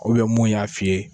mun y'a f'i ye.